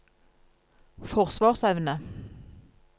forsvarsevne